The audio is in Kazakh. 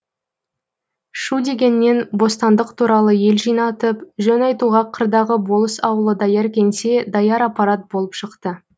шу дегеннен бостандық туралы ел жинатып жөн айтуға қырдағы болыс ауылы даяр кеңсе даяр аппарат болып шықты